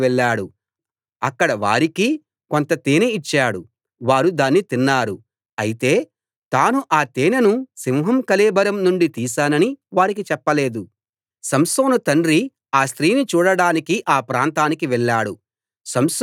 అతడు ఆ తేనె తీసి చేతిలో పట్టుకుని తింటూ తన తల్లిదండ్రుల దగ్గరికి వెళ్ళాడు అక్కడ వారికీ కొంత తేనె ఇచ్చాడు వారూ దాన్ని తిన్నారు అయితే తాను ఆ తేనెను సింహం కళేబరం నుండి తీశానని వారికి చెప్పలేదు